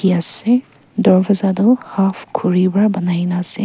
ase darwaja toh half khuri para banai na ase.